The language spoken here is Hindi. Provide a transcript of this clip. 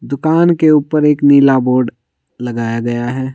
दुकान के ऊपर एक नीला बोर्ड लगाया गया है।